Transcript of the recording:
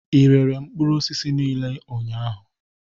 Ị rere mkpụrụ osisi niile ụnyahụ?